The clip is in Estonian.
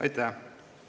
Aitäh!